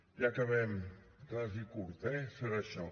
ja acabem ras i curt eh serà això